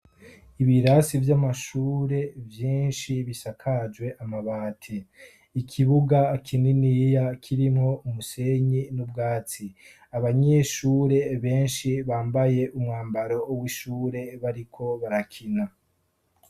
ibirasi by'amashure byinshi bisakajwe amabati ikibuga kininiya kirimwo umusenyi n'ubwatsi abanyeshure benshi bambaye umwambaro w'ishure bariko barakina